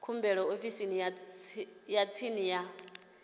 khumbelo ofisini ya tsini ya